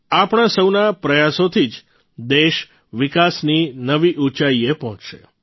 આપણા સૌના પ્રયાસોથી જ દેશ વિકાસની નવી ઉંચાઇએ પહોંચશે